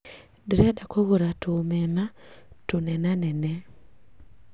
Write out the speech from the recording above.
Ndirenda kũgũra tũ omena tũnenanene